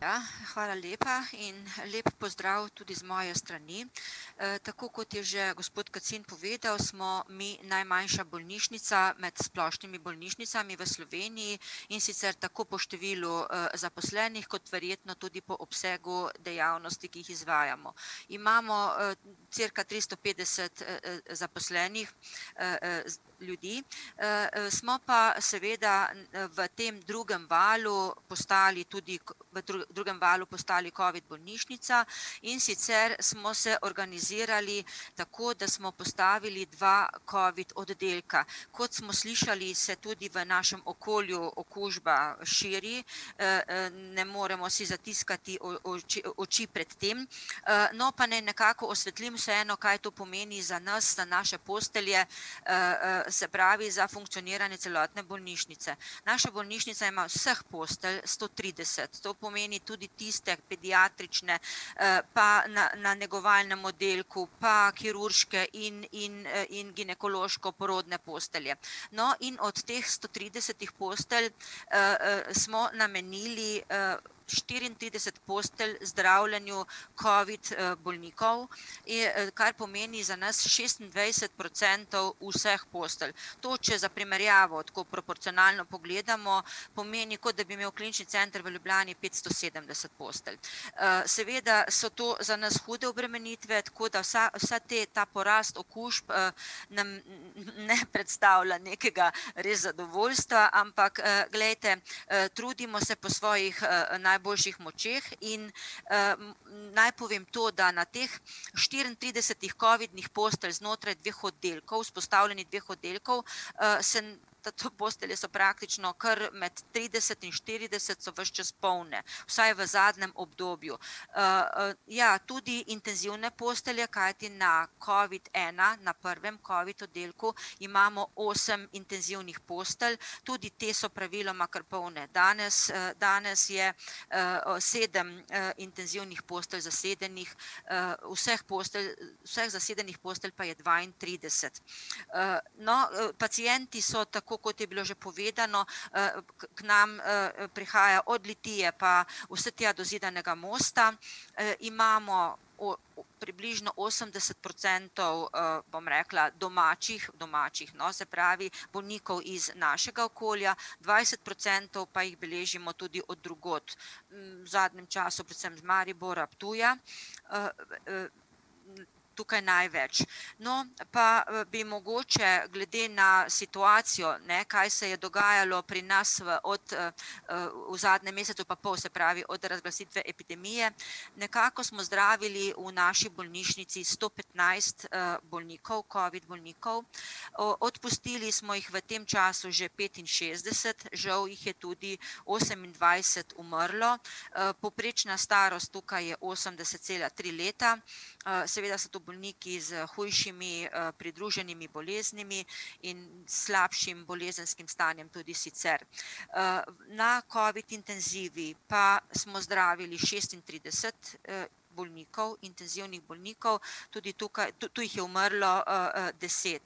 Ja, hvala lepa, in lep pozdrav tudi z moje strani. tako kot je že gospod Kacin povedal, smo mi najmanjša bolnišnica med splošnimi bolnišnicami v Sloveniji, in sicer tako po številu zaposlenih kot verjetno tudi po obsegu dejavnosti, ki jih izvajamo. Imamo cirka tristo petdeset zaposlenih ljudi, smo pa seveda v tem drugem valu postali tudi v v drugem valu postali covid bolnišnica, in sicer smo se organizirali tako, da smo postavili dva covid oddelka. Kot smo slišali, se tudi v našem okolju okužba širi, ne moremo si zatiskati oči, oči pred tem, no, pa naj nekako osvetlim vseeno, kaj to pomeni za nas, za naše postelje, se pravi za funkcioniranje celotne bolnišnice. Naša bolnišnica ima vseh postelj sto trideset, to pomeni tudi tiste pediatrične, pa na, na negovalnem oddelku pa kirurške in, in, in ginekološko-porodne postelje. No, in od teh sto tridesetih postelj smo namenili štiriintrideset postelj zdravljenju covid bolnikov, kar pomeni za nas šestindvajset procentov vseh postelj. To, če za primerjavo tako proporcionalno pogledamo, pomeni, kot da bi imel klinični center v Ljubljani petsto sedemdeset postelj. seveda so to za nas hude obremenitve, tako da vsa, vsa te, ta porast okužb, nam ne predstavlja nekega res zadovoljstva, ampak glejte, trudimo se po svojih najboljših močeh in, naj povem to, da na teh štiriintridesetih covidnih postelj znotraj dveh oddelkov, vzpostavljenih dveh oddelkov, se da tu postelje so praktično kar med trideset in štirideset so ves čas polne, vsaj v zadnjem obdobju. ja, tudi intenzivne postelje, kajti na covid ena, na prvem covid oddelku, imamo osem intenzivnih postelj, tudi te so praviloma kar polne. Danes, danes je sedem intenzivnih postelj zasedenih. vseh postelj, vseh zasedenih postelj pa je dvaintrideset. no, pacienti so, tako kot je bilo že povedano, k nam prihaja od Litije pa vse tja do Zidanega mosta, imamo približno osemdeset procentov, bom rekla, domačih, domačih, no, se pravi bolnikov iz našega okolja, dvajset procentov pa jih beležimo tudi od drugod. V zadnjem času predvsem iz Maribora, Ptuja, tukaj največ. No, pa bi mogoče glede na situacijo, ne, kaj se je dogajalo pri nas v od v zadnjem mesecu, pa pol, se pravi, od razglasitve epidemije, nekako smo zdravili v naši bolnišnici sto petnajst bolnikov, covid bolnikov. odpustili smo jih v tem času že petinšestdeset, žal jih je tudi osemindvajset umrlo. povprečna starost tukaj je osemdeset cela tri leta, seveda so to bolniki s hujšimi pridruženimi boleznimi in slabšim bolezenskim stanjem tudi sicer. na covid intenzivi pa smo zdravili šestintrideset bolnikov, intenzivnih bolnikov, tudi tukaj, tu jih je umrlo deset.